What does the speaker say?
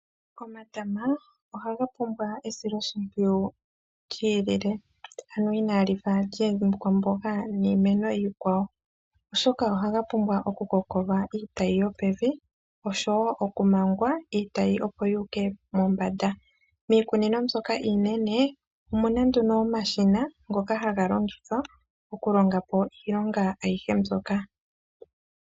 Omatama ohaga pumbwa esilo shimpwiwu lyiilile, ano inaa lifa lyiikwamboga niimeno iikwawo. Omolwashoka omatama ohaga pumbwa oku kokolwa iitayi yopevi osho woo okumangwa, iitayi opo yi Ike mombanda. Miikunino mbyoka iinene omuna nduno omashina ngono haga longithwa oku longa po iilonga ayihe mbyoka.